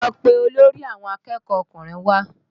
Lọ pé olórí àwọn akẹ́kọ̀ọ́ ọkùnrin wá!